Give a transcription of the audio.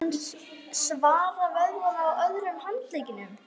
Svo spennti hann svera vöðvana á öðrum handleggnum.